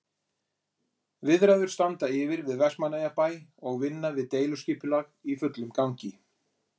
Viðræður standa yfir við Vestmannaeyjabæ og vinna við deiliskipulag í fullum gangi.